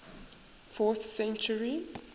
fourth century